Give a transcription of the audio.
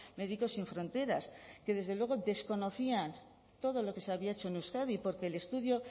médicos sin fronteras que desde luego desconocía todo lo que se había hecho en euskadi porque el estudio